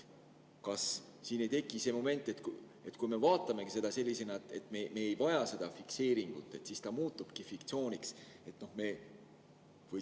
Kas siin ei teki see moment, et kui me vaatame seda sellisena, et me ei vaja seda fikseeringut, siis ta muutubki fiktsiooniks?